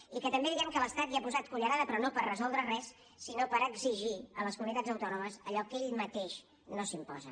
i que també diem que l’estat hi ha posat cullerada però no per resoldre res sinó per exigir a les comunitats autònomes allò que ell mateix no s’imposa